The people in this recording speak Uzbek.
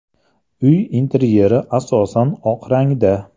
Uy interyeri asosan oq rangda.